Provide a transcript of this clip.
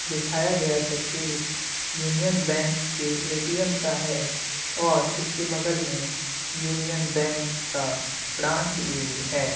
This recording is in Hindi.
दिखाया गया तस्वीर यूनीअन बैंक के ए.टी.एम. का है और इसके बगल में यूनीअन बैंक का ब्रांच भी है।